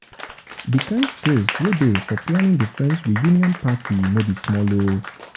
di kind stress wey dey stress wey dey for planning the friends reuion party no be small o